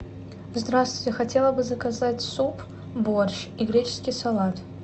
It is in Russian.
здравствуйте хотела бы заказать суп борщ и греческий салат